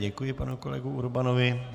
Děkuji panu kolegu Urbanovi.